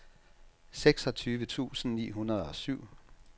seksogtyve tusind ni hundrede og syv